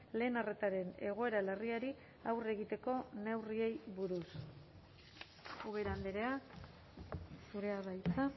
lehen arretaren egoera larriari aurre egiteko neurriei buruz ubera andrea zurea da hitza